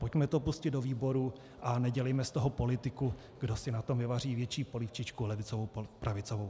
Pojďme to pustit do výborů a nedělejme z toho politiku, kdo si na tom navaří větší polívčičku levicovou - pravicovou.